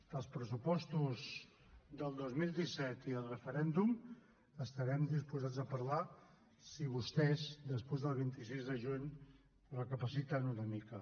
dels pressupostos del dos mil disset i del referèndum estarem disposats a parlar si vostès després del vint sis de juny recapaciten una mica